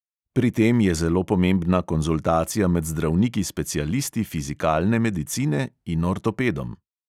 Pri tem je zelo pomembna konzultacija med zdravniki specialisti fizikalne medicine in ortopedom.